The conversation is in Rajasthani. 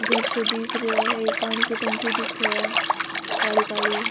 घर सो दिख रियो है एक पानी की टंकी दिखे है काली काली।